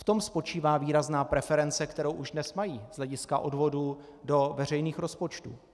V tom spočívá výrazná preference, kterou už dnes mají z hlediska odvodů do veřejných rozpočtů.